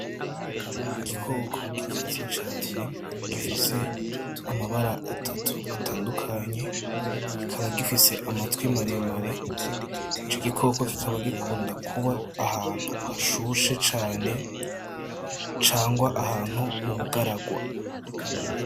Igikoko gikaze cane gifise amabara atatu atandukanye, kikaba gifise amatwi maremare, ico gikoko kikaba gikunda kuba ahantu hashushe cane cangwa ahantu mu bugaragwa.